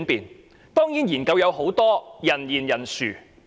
研究當然有很多，而且人言人殊。